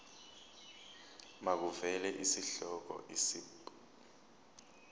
makuvele isihloko isib